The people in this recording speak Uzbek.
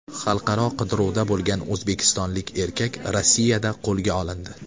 Xalqaro qidiruvda bo‘lgan o‘zbekistonlik erkak Rossiyada qo‘lga olindi.